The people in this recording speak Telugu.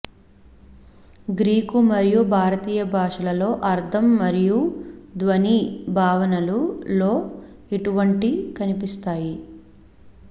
గ్రీకు మరియు భారతీయ భాషలలో అర్థం మరియు ధ్వని భావనలు లో ఇటువంటి కనిపిస్తాయి